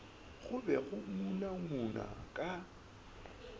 go be go ngunangunwa ka